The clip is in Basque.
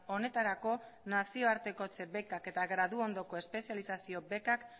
honetarako nazioartekotze bekak eta gradu ondoko espezializazio bekak